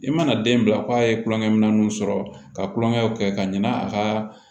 I mana den bila ko a ye tulonkɛ minɛnw sɔrɔ ka tulonkɛw kɛ ka ɲina a ka